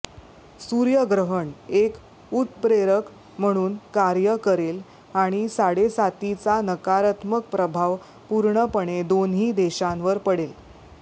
सूर्यग्रहण एक उत्प्रेरक म्हणून कार्य करेल आणि साडेसातीचा नकारात्मक प्रभाव पूर्णपणे दोन्ही देशांवर पडेल